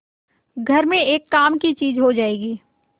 घर में एक काम की चीज हो जाएगी